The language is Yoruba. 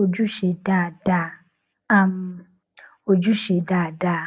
ojúṣe dáadáa um ojúṣe dáadáa